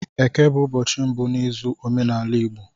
Eke bụ ụbọchị mbụ n'izu n'omenala Igbo